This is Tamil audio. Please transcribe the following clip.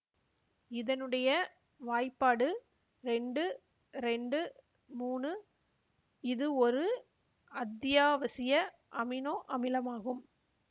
இதனுடைய வாய்பாடு இரண்டு இரண்டு மூனு இது ஒரு அத்தியாவசிய அமினோ அமிலமாகும்